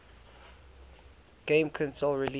game console released